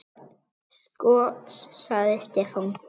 Sko. sagði Stefán.